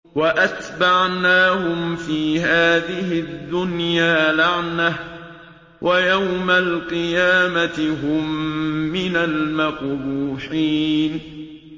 وَأَتْبَعْنَاهُمْ فِي هَٰذِهِ الدُّنْيَا لَعْنَةً ۖ وَيَوْمَ الْقِيَامَةِ هُم مِّنَ الْمَقْبُوحِينَ